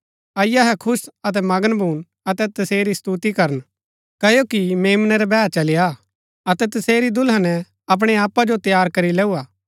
अईआ अहै खुश अतै मगन भून अतै तसेरी स्तुति करन क्ओकि मेम्नै रा बैह चली आ अतै तसेरी दुलहने अपणै आपा जो तैयार करी लैऊआ